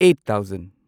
eight thousand